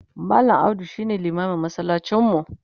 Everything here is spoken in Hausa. mallam audu shine limamin masallacin mu